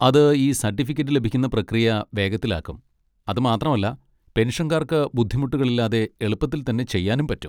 അത് ഈ സർട്ടിഫിക്കറ്റ് ലഭിക്കുന്ന പ്രക്രിയ വേഗത്തിലാക്കും, അത് മാത്രല്ല പെൻഷൻകാർക്ക് ബുദ്ധിമുട്ടുകളില്ലാതെ എളുപ്പത്തിൽ തന്നെ ചെയ്യാനും പറ്റും.